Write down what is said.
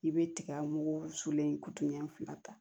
I bɛ tiga mugu sulen kutu ɲɛ fila ta